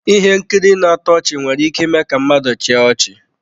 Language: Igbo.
Ihe nkiri na-atọ ọchị nwere ike ime ka mmadụ chịa ọchị.